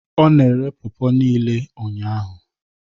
Ọ na-ere pawpaw niile ụnyahụ